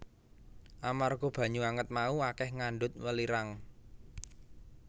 Amarga banyu anget mau akèh ngandhut welirang